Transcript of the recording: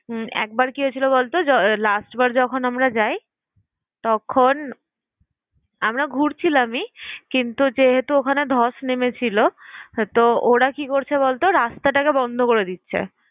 হুম একবার কি হয়েছিল বলতো, জ~ last বার যখন আমরা যাই, তখন আমরা ঘুরছিলামই কিন্তু যেহেতু ওখানে ধস নেমেছিল। তো ওরা কি করছে বলতো রাস্তাটাকে বন্ধ করে দিচ্ছে।